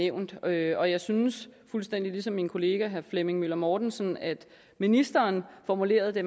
nævnt og jeg synes fuldstændig ligesom min kollega herre flemming møller mortensen at ministeren formulerede det